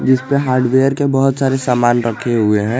इस पर हार्डवेयर के बहुत सारे सामाल रखे हुए हैं।